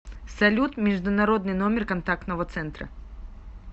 салют международный номер контактного центра